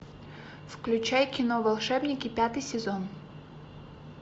включай кино волшебники пятый сезон